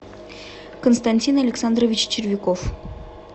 константин александрович червяков